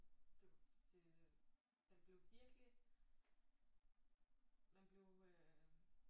Det det man blev virkelig man blev øh